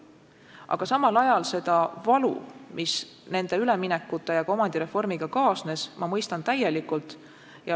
Aga samal ajal seda valu, mis nende üleminekute ja ka omandireformiga kaasnes, ma mõistan täielikult.